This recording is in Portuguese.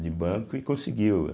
de banco e conseguiu, né?